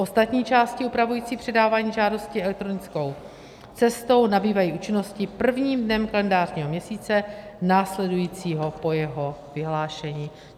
Ostatní části upravující předávání žádosti elektronickou cestou nabývají účinnosti prvním dnem kalendářního měsíce následujícího po jeho vyhlášení.